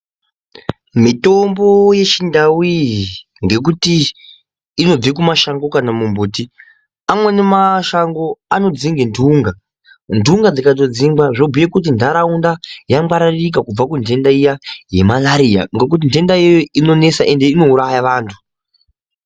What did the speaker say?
Mitombo yechindau iyi ngekuti inobve kumashango kana kuti mumbuti, amweni mashango anodzinga ndunga, ndunga dzingatodzingwa zvinobhuya kuti ndaraunda yangwararika kubva kundenda yemarariya ngekuti ndenda iyoyo inonesa ende inouraya vantu.